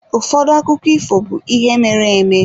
Ụfọdụ akụkọ ifo be ihe mere-eme.